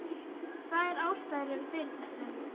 Tvær ástæður eru fyrir þessu.